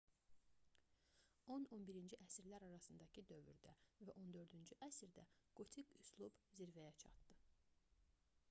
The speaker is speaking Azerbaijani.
10-11-ci əsrlər arasındakı dövrdə və 14-cü əsrdə qotik üslub zirvəyə çatdı